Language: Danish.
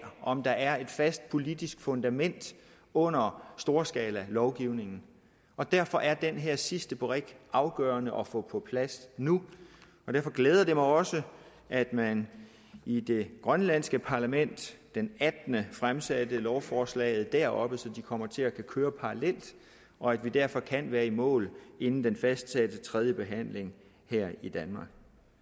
om der er et fast politisk fundament under storskalalovgivningen og derfor er den her sidste brik afgørende at få på plads nu derfor glæder det mig også at man i det grønlandske parlament den attende fremsatte lovforslaget deroppe så de kommer til at kunne køre parallelt og at vi derfor kan være i mål inden den fastsatte tredjebehandling her i danmark